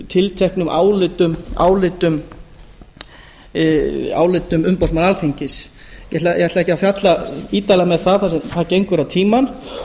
tilteknum álitum umboðsmanns alþingis ég ætla ekki að fjalla ítarlega um það þar sem það gengur á tímann